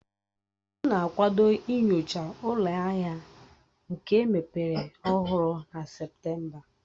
M na-akwado inyocha ụlọ ahịa nka emepere ọhụrụ na Septemba